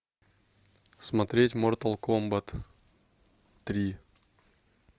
смотреть мортал комбат три